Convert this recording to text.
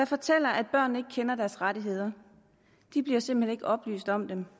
fortæller at børnene kender deres rettigheder de bliver simpelt hen ikke oplyst om dem